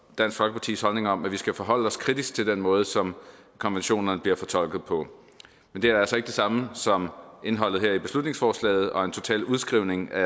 dansk folkepartis holdning om at vi skal forholde os kritisk til den måde som konventionerne bliver fortolket på men det er altså ikke det samme som at indholdet i beslutningsforslaget her og en total udskrivning af